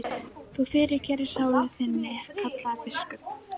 Þú fyrirgerir sálu þinni, kallaði biskup.